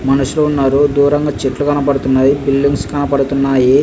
మనుషులు ఉన్నారు. దూరంగా చెట్లు కనబడుతున్నాయి.బిల్డింగ్స్ కనపద్తునయి .